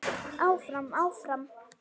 Áfram, áfram.